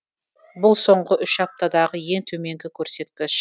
бұл соңғы үш аптадағы ең төменгі көрсеткіш